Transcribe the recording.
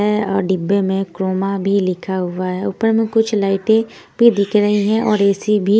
है और डिब्बे में क्रोमा बी लिखा हुआ है ऊपर में कुछ लाइटें भी दिख रही हैं और ऐ_सी भी--